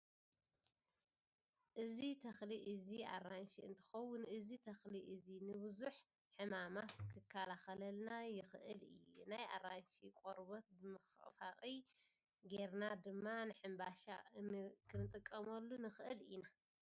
እዚ ተክሊ እዚ ኣራንሺ እንትኮውን እዚ ተክሊ እዚ ንቡዙሕ ሕማማት ክከላከለልና ይክእል እዩ። ናይ ኣራንሺ ቆርበ ብመፈቅፈቂ ጌርና ድማ ንሕምሻ ክንጥቀመሉ ንክእል ኢና።